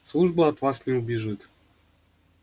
служба от вас не убежит